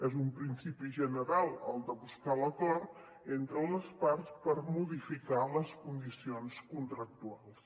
és un principi general el de buscar l’acord entre les parts per modificar les condicions contractuals